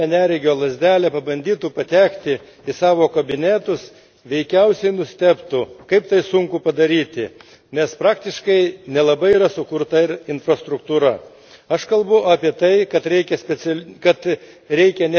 Aš manau, jei parlamentarai užsirištų akis ir paėmę neregio lazdelę pabandytu patekti į savo kabinetus, veikiausiai nustebtų, kaip tai sunku padaryti, nes praktiškai nelabai yra sukurta ir infrastruktūra.